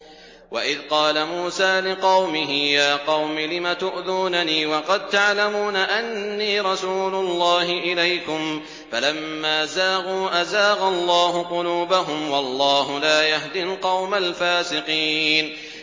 وَإِذْ قَالَ مُوسَىٰ لِقَوْمِهِ يَا قَوْمِ لِمَ تُؤْذُونَنِي وَقَد تَّعْلَمُونَ أَنِّي رَسُولُ اللَّهِ إِلَيْكُمْ ۖ فَلَمَّا زَاغُوا أَزَاغَ اللَّهُ قُلُوبَهُمْ ۚ وَاللَّهُ لَا يَهْدِي الْقَوْمَ الْفَاسِقِينَ